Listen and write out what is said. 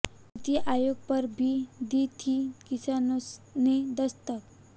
नीति आयोग पर भी दी थी किसानों ने दस्तक